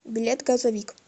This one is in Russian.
билет газовик